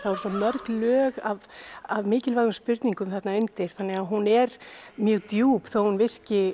svo mörg lög af af mikilvægum spurningum þarna undir hún er mjög djúp þótt hún virki